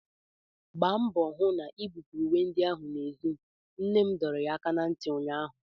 Gbaa mbọ hụ na-ibupuru uwe ndị ahụ n'èzí! nne m dọrọ ya aka ná ntị ụnyaahụ!